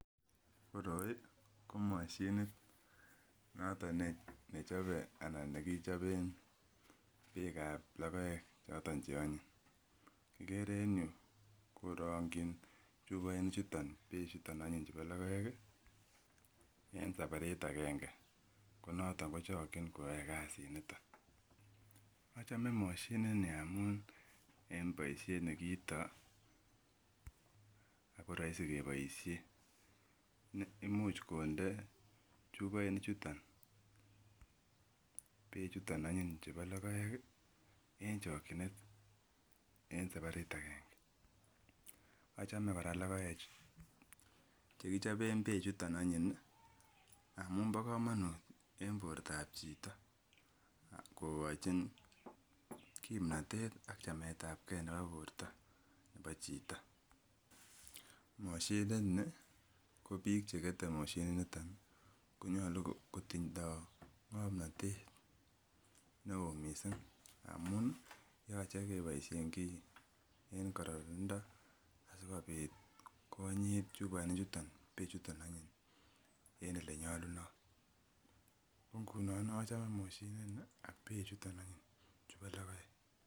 Koroiko moshinit noton nechobe ana nekichoben beek ab lokoek choton che onyiny, ikere en yuu korongi chumoinik chuton beek chuton onyiny chubo lokoek kii en sabarit agenge ko noton kochoki koyoe kasit niton. Ocheme moshinit nii amun en boishet nekeito ako roisi keboishen imuch konde chuboinik chuton beek chuton onyiny chubo lokoek kii en chokinet en sabarit agenge. Ochome Koraa lokoek che kichoben beek chuton onyiny amun bo komonut en bortab chito kokochin kipnotet an chametabgee nebo borto nebo chito. Moshinit nii ko bik chekete Mashinit niton konyolu kotindo ngomnotet neo missing amun yoche keboishen kii en kororonindo asikopit konyit chuboinik chuton beek chuton onyiny en olenyolunot, ko ngunon ochome moshinit nii ak beek chuton onyiny chubo lokoek.